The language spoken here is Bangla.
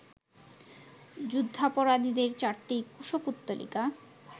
যুদ্ধাপরাধীদের চারটি কুশপুত্তলিকা